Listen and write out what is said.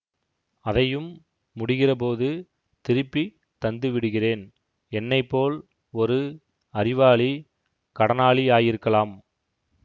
அதையும் முடிகிற போது திருப்பி தந்து விடுகிறேன் என்னை போல் ஒரு அறிவாளி கடனாளியாயிருக்கலாம்